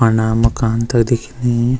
फरणा मकान तख दिखेंनी।